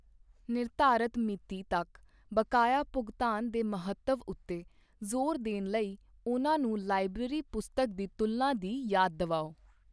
ਨਿਰਧਾਰਤ ਮਿਤੀ ਤੱਕ ਬਕਾਇਆ ਭੁਗਤਾਨ ਦੇ ਮਹੱਤਵ ਉੱਤੇ ਜ਼ੋਰ ਦੇਣ ਲਈ ਉਨ੍ਹਾਂ ਨੂੰ ਲਾਇਬ੍ਰੇਰੀ ਪੁਸਤਕ ਦੀ ਤੁਲਨਾ ਦੀ ਯਾਦ ਦਿਵਾਓ।